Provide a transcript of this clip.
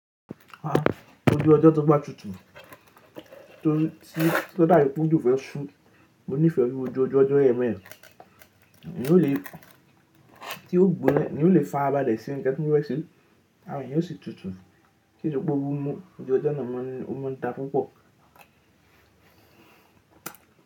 Ah ojú ọjọ́ tó bá tutù, tí ó dàbí pé òjò fẹ́ ṣú, mo nífẹ̀ẹ́ oju ojú ọjọ́ yẹn beyẹn. N ó le tí ó gbónna, ni ó lè fi ara bàlẹ se ńnkan tí ó fẹ́ ṣe, ara èèyàn ó sì tutù. Kí nípẹ́ owó mú, ojú ọjọ́ náà mọ́ ni o mọ́ ń da púpọ̀.